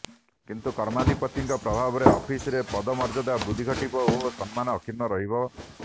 କିନ୍ତୁ କର୍ମାଧିପତିଙ୍କ ପ୍ରଭାବରେ ଅଫିସରେ ପଦମର୍ଯ୍ୟାଦା ବୃଦ୍ଧି ଘଟିବ ଓ ସମ୍ମାନ ଅକ୍ଷୁର୍ଣ୍ଣ ରହିବ